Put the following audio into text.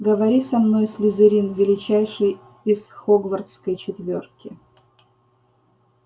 говори со мной слизерин величайший из хогвартской четвёрки